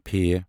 ف